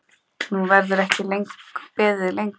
Nú verður ekki beðið lengur.